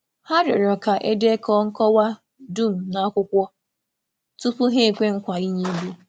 Hà rịọrọ ka e dekọọ nkọwa dum n’akwụkwọ tupu hà ekwe nkwa ị̀nye ego.